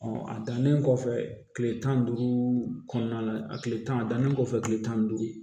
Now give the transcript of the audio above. a dannen kɔfɛ kile tan ni duuru kɔnɔna na a tile tannen kɔfɛ tile tan ni duuru